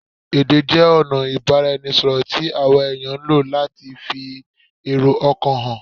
Èdè jẹ ọna ọ̀nà ìbáraẹnisọ̀rọ̀ tí àwa èèyàn ń lò láti fi èrò ọkàn hàn